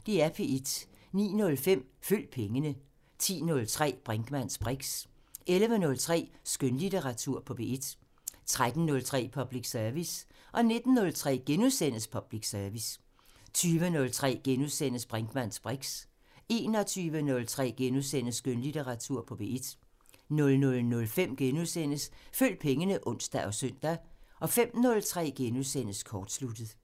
09:05: Følg pengene 10:03: Brinkmanns briks 11:03: Skønlitteratur på P1 13:03: Public Service 19:03: Public Service * 20:03: Brinkmanns briks * 21:03: Skønlitteratur på P1 * 00:05: Følg pengene *(ons og søn) 05:03: Kortsluttet *